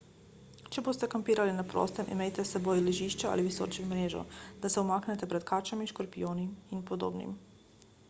če boste kampirali na prostem imejte s seboj ležišče ali visečo mrežo da se umaknete pred kačami škorpijoni in podobnim